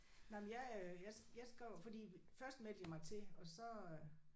Nej men jeg øh jeg jeg skrev fordi først meldte jeg mig til og så øh